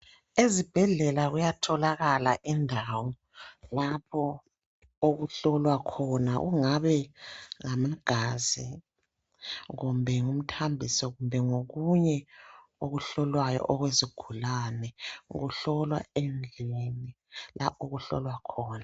Ezibhedlela kuyatholakala indawo lapho okuhlolwa khona kungabe ngamagazi kumbe ngumthambiso kumbe ngokunye okuhlolwayo okwezigulane okuhlolwa endlini la okuhlolwa khona .